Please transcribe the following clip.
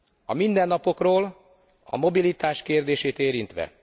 A mindennapokról, a mobilitás kérdését érintve.